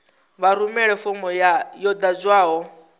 vha rumele fomo yo ḓadzwaho